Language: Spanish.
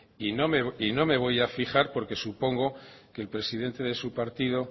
y no me voy a fijar porque supongo que el presidente de su partido